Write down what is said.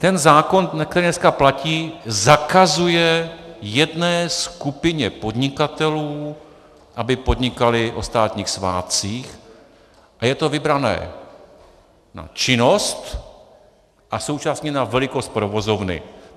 Ten zákon, který dneska platí, zakazuje jedné skupině podnikatelů, aby podnikali o státních svátcích, a je to vybrané na činnost a současně na velikost provozovny.